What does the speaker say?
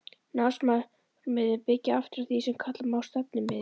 Námsmarkmiðin byggja aftur á því sem kalla má stefnumið.